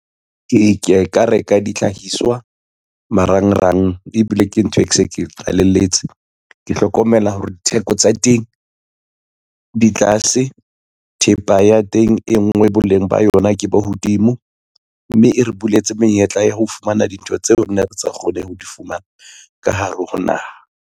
Ee, ke ya ka reka dihlahiswa marangrang, ebile ke ntho e ke se ke qalelletse. Ke hlokomela hore ditheko tsa teng di tlase, thepa ya teng e ngwe boleng ba yona ke bo hodimo, mme e re buletse menyetla ya ho fumana dintho tseo re ne re sa kgoneng ho di fumana ka hare ho naha.